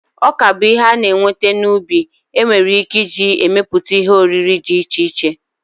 Ọka bụ ihe a na-enweta n'ubi enwere ike iji emepụta ihe oriri dị iche iche.